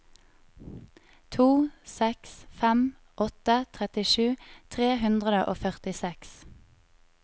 to seks fem åtte trettisju tre hundre og førtiseks